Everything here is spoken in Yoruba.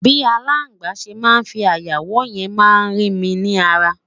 bi alàgbà se má fí aya wò yen ma ri mi ni ara